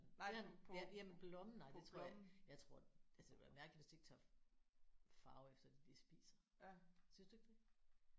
Ja jamen blommen nej det tror jeg jeg tror altså det ville være mærkeligt hvis det ikke tog farve efter det de spiser. Synes du ikke det?